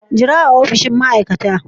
Jira a opishin ma'aikata.